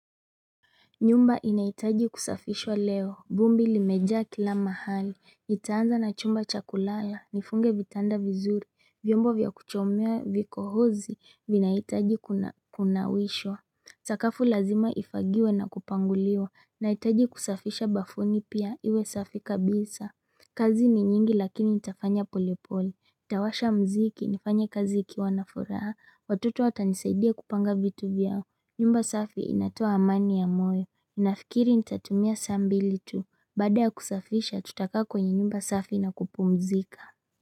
Nyumba inaitaji kusafishwa leo. Vumbi limeja kila mahali. Nitaanza na chumba chakulala. Nifunge vitanda vizuri. Vyombo vya kuchomea vikohozi. Vinaitaji kuna wishwa. Sakafu lazima ifagiwe na kupanguliwa. Naitaji kusafisha bafuni pia. Iwe safi kabisa. Kazi ni nyingi lakini itafanya polepole. Itawasha mziki. Nifanya kaziki wanaforaa. Watoto watanisaidia kupanga vitu vyao. Nyumba safi inatua amani ya moyo, inafikiri nitatumia saa mbili tu, baada ya kusafisha tutakaa kwenye nyumba safi na kupumzika.